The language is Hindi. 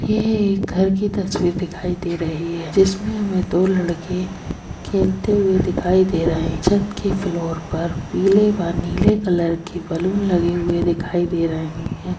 ये_ये_ये_ये एक घर की तस्वीर दिखाई दे रही है जिसमे हमे दो लड़के खेलते हुये दिखाई दे रहे है छत के फ्लोर पर पीले व नीले कलर के बलून लगे दिखाई दे रहे है ।